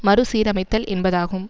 மறு சீரமைத்தல் என்பதாகும்